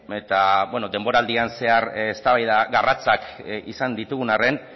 eta bueno denboraldian zehar eztabaida garratzak izan ditugun arren